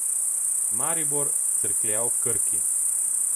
Maribor, Cerklje ob Krki.